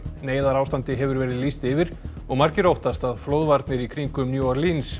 neyðarástandi hefur verið lýst yfir og margir óttast að í kringum New